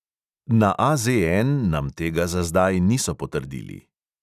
Na AZN nam tega za zdaj niso potrdili.